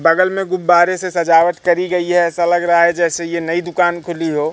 बगल में गुब्बारे से सजावट करी गई है ऐसा लग रहा है जैसे यह नई दुकान खुली हो--